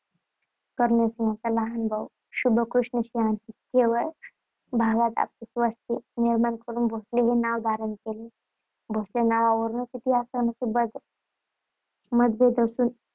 कर्णसिंहाचा लहान भाऊ शुभकृष्णसिंहाने वेरूळ भागात आपली वस्ती निर्माण करून भोसले हे नाव धारण केले. भोसले नावावरून इतिहासकारांत मतभेद असून